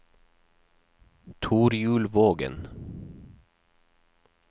Torjulvågen